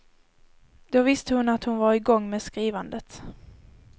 Då visste hon att han var igång med skrivandet.